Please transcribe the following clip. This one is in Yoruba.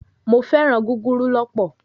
Mo féràn gúgúrú lọ.